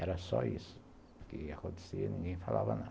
Era só isso que acontecia, ninguém falava nada.